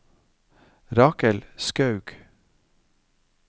Rakel Skaug